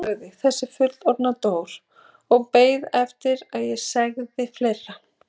Hún þagnaði, þessi fullorðna Dór og beið eftir að ég segði fleira.